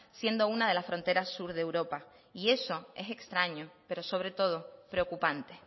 siendo una de las fronteras sur de europa y eso es extraño pero sobre todo preocupante